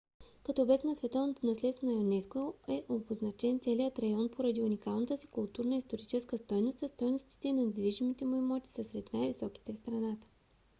като обект на световното наследство на юнеско е обозначен целият район поради уникалната си културна и историческа стойност а стойностите на недвижимите му имоти са сред най - високите в страната